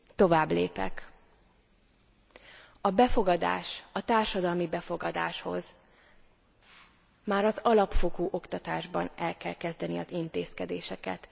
Továbblépek, a befogadás, a társadalmi befogadáshoz már az alapfokú oktatásban el kell kezdeni az intézkedéseket.